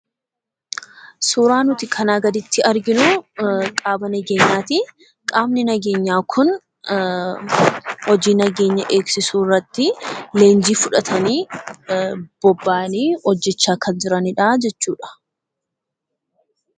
Suuraan nuti kanaa gaditti arginu qaama nageenyaati. Qaamni nageenyaa kun hojii nageenya eegsisuu irratti leenjii fudhatanii, bobba'anii hojjechaa kan jiraniidha jechuudha.